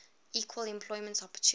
equal employment opportunity